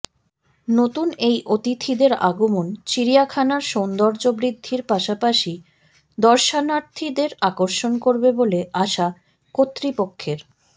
নতুন এই অতিথিদের আগমন চিড়িয়াখানার সৌন্দর্যবৃদ্ধির পাশাপাশি দর্শনার্থীদের আকর্ষণ করবে বলে আশা কর্তৃপক্ষের